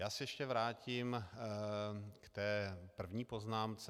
Já se ještě vrátím k té první poznámce.